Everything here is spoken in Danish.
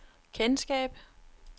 kendskab